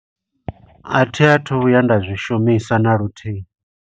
A thi athu u vhuya nda zwi shumisa na luthihi.